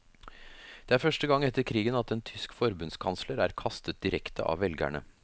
Det er første gang etter krigen at en tysk forbundskansler er kastet direkte av velgerne.